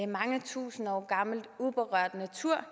mange tusind år gammel uberørt natur